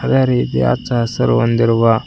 ಅದೇ ರೀತಿ ಹಚ್ಚ ಹಸಿರು ಹೊಂದಿರುವ--